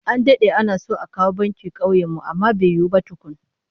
An dade ana so a kawo banki kauyen mu amma bai yiwu ba tukun